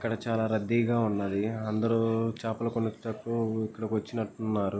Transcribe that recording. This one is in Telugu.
ఇక్కడ చాలా రద్దీగా ఉన్నది. అందరూ చేపలకు కొనుటకు ఇక్కడికి వచ్చినట్టున్నారు.